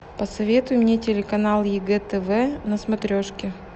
посоветуй мне телеканал егэ тв на смотрешке